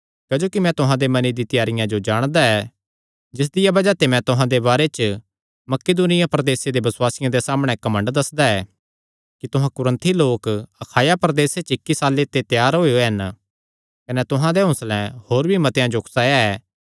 क्जोकि मैं तुहां दे मने दी त्यारियां जो जाणदा ऐ जिसदिया बज़ाह ते मैं तुहां दे बारे च मकिदुनिया प्रदेसे दे बसुआसियां दे सामणै घमंड दस्सदा ऐ कि तुहां कुरिन्थी लोक अखाया प्रदेसे च इक्की साल्ले ते त्यार होएयो हन कने तुहां दे हौंसले होर भी मतेआं जो उकसाया ऐ